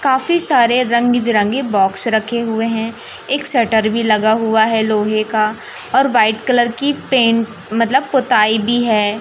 काफी सारे रंग बिरंगे बॉक्स रखे हुए हैं एक शटर भी लगा हुआ है लोहे का और व्हाइट कलर की पेंट मतलब पोताई भी है।